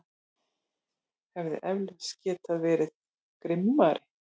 Hefði eflaust getað verið grimmari.